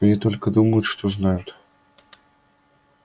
они только думают что знают